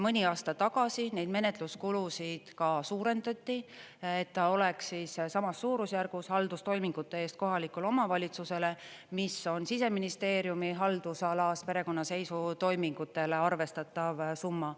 Mõni aasta tagasi neid menetluskulusid ka suurendati, et ta oleks samas suurusjärgus haldustoimingute eest kohalikule omavalitsusele, mis on Siseministeeriumi haldusalas perekonnaseisutoimingutele arvestatav summa.